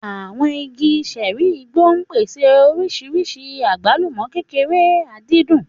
Àwọn igi ṣẹ́ẹ́rì igbó ń pèsè oríṣìíríṣìí àgbálùmọ́ kékeré, àdìdún.